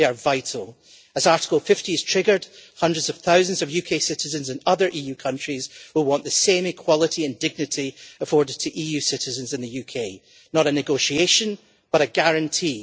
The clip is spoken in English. They are vital. As Article 50 is triggered, hundreds of thousands of UK citizens in other EU countries will want the same equality and dignity that is afforded to EU citizens in the UK not a negotiation, but a guarantee.